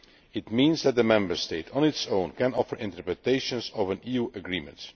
It means that a Member State on its own can offer interpretations of an EU agreement.